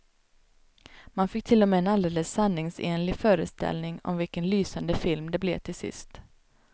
Man fick till och med en alldeles sanningsenlig föreställning om vilken lysande film det blev till sist.